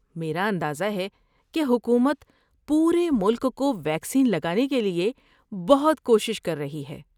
میرا اندازہ ہے کہ حکومت پورے ملک کو ویکسین لگانے کے لیے بہت کوشش کر رہی ہے۔